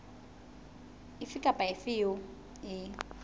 efe kapa efe eo e